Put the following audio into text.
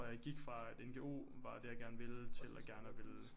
Jeg gik fra at NGO var det jeg gerne ville til at gerne at ville